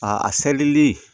A a selili